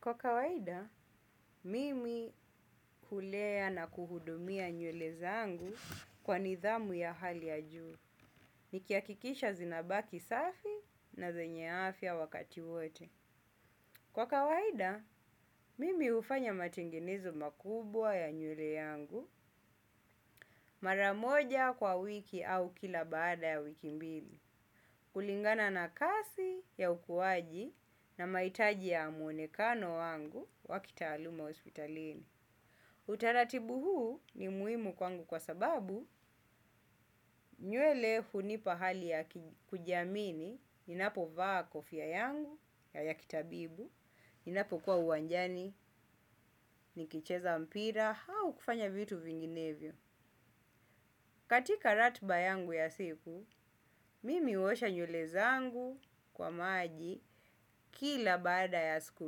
Kwa kawaida, mimi hulea na kuhudumia nywele zangu kwa nidhamu ya hali ya juu. Nikihakikisha zinabaki safi na zenye afya wakati wote. Kwa kawaida, mimi hufanya matengenezo makubwa ya nywele yangu mara moja kwa wiki au kila baada ya wiki mbili. Kulingana na kazi ya ukuaji na mahitaji ya mwonekano wangu wa kitaaluma wa hospitalini. Utaratibu huu ni muhimu kwangu kwa sababu nywele hunipa hali ya kujiamini. Ninapo vaa kofia yangu ya kitabibu ninapo kwa uwanjani nikicheza mpira au kufanya vitu vinginevyo. Katika ratba yangu ya siku, mimi huosha nywele zangu kwa maji kila baada ya siku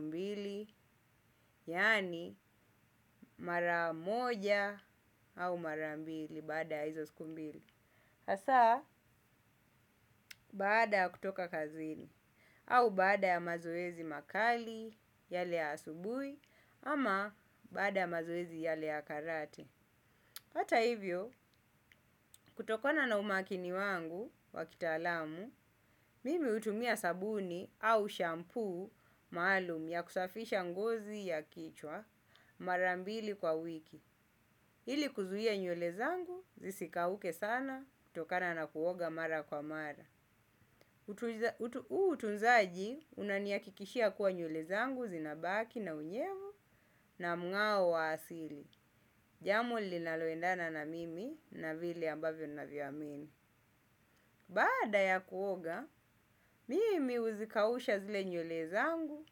mbili. Yaani mara moja au mara mbili baada ya hizo siku mbili hasa, baada ya kutoka kazini au baada ya mazoezi makali yale ya asubuhi ama baada ya mazoezi yale ya karate. Hata hivyo, kutokona na umakini wangu wa kitaalamu mimi hutumia sabuni au shampu maalum ya kusafisha ngozi ya kichwa mara mbili kwa wiki. Ili kuzuia nywle zangu, zisikauke sana kutokana na kuoga mara kwa mara. Utunzaji unanihakikishia kuwa nywele zangu zinabaki na unyevu na mungao wa asili. Jambo linalo endana na mimi na vile ambavyo ninanvyo amini. Baada ya kuoga, mimi huzikausha zile nywele zangu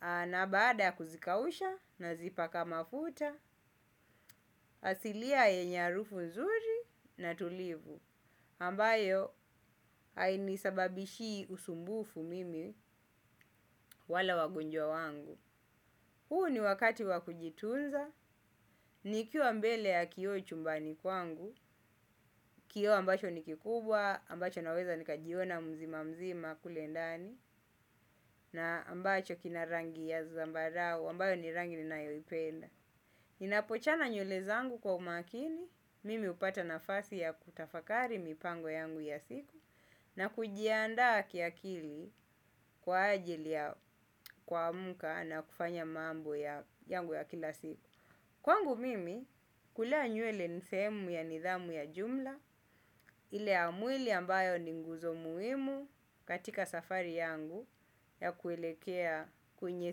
na baada ya kuzikausha nazipaka mafuta asilia yenye harufu nzuri na tulivu. Ambayo ainisababishi usumbufu mimi wala wagonjwa wangu. Huu ni wakati wa kujitunza nikiwa mbele ya kioo chumbani kwangu. Kio ambacho ni kikubwa, ambacho naweza nikajiona mzima mzima kule ndani na ambacho kina rangi ya zambarao ambayo ni rangi ninayo ipenda. Ninapochana nywele zangu kwa umakini mimi hupata nafasi ya kutafakari mipango yangu ya siku. Na kujiandaa kiakili kwa ajili ya kwa kuamka na kufanya mambo yangu ya kila siku. Kwangu mimi kulea nywele ni sehemu ya nidhamu ya jumla. Ile ya mwili ambayo ni nguzo muhimu katika safari yangu ya kuelekea kwenye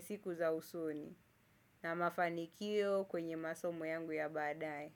siku za usoni na mafanikio kwenye masomo yangu ya baadaye.